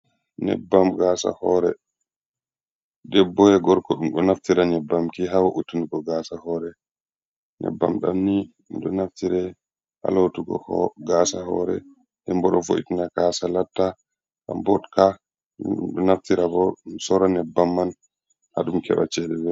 Nyebbam gasa hore debbo e gorko ɗum ɗo naftira nyebbamki ha woutunugo gasa hore, nyebbam ɗamni ɗo naftira ha lotugo gasa hore, ndenbo ɗo vo’itna gasa latta ka botka, ɗum ɗo naftira bo ɗum sora nyebbam man haɗum keɓa chede.